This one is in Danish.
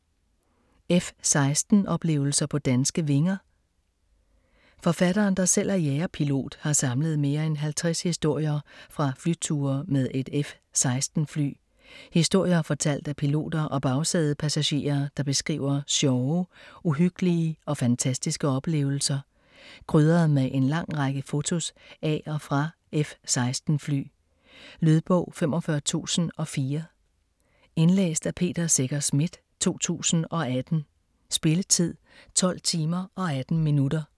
F-16 - oplevelser på danske vinger Forfatteren der selv er jagerpilot har samlet mere end 50 historier fra flyture med et F-16 fly. Historier fortalt af piloter og bagsædepassagerer der beskriver sjove, uhyggelige og fantastiske oplevelser. Krydret med en lang række fotos af og fra F-16 fly. Lydbog 45004 Indlæst af Peter Secher Schmidt, 2018. Spilletid: 12 timer, 18 minutter.